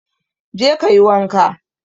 Go and bath